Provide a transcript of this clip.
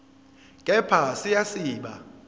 kepha siya siba